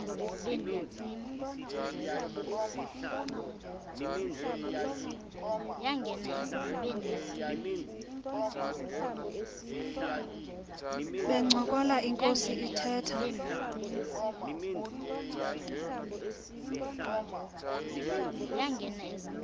bencokola inkos ithetha